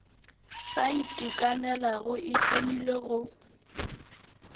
sa itekanelago e hlomilwe go